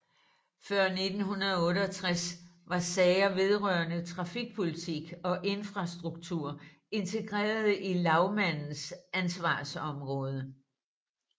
Før 1968 var sager vedrørende trafikpolitik og infrastruktur integreret i lagmandens ansvarsområde